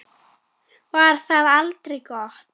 Var það aldrei gott?